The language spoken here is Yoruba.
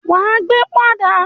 Ó ma gbẹ́ pọ́n àdá!